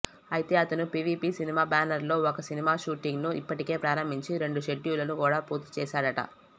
అయితే అతను PVP cinema బ్యానర్లో ఒక సినిమా షూటింగ్ను ఇప్పటికే ప్రారంభించి రెండు షెడ్యూళ్లను కూడా పూర్తిచేశాడట